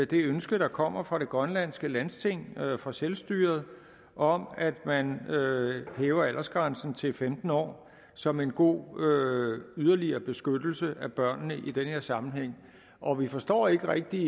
det ønske der kommer fra det grønlandske landsting fra selvstyret om at man hæver aldersgrænsen til femten år som en god yderligere yderligere beskyttelse af børnene i den her sammenhæng og vi forstår ikke rigtig